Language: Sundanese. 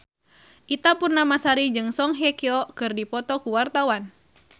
Ita Purnamasari jeung Song Hye Kyo keur dipoto ku wartawan